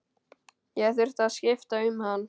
Ég þurfti að skipta um hann.